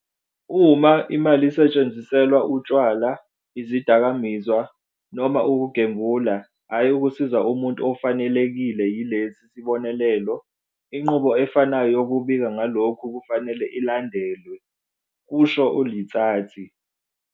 "Uma imali isetshenziselwa utshwala, izidakamizwa noma ukugembula, hhayi ukusiza umuntu ofanelekile yilesi sibonelelo, inqubo efanayo yokubika ngalokhu kufanele ilandelwe," kusho u-Letsatsi."